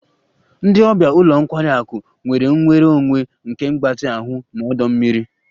Ndị ọbịa ụlọ nkwari akụ nwere nnwere onwe nke mgbatị ahụ na ọdọ mmiri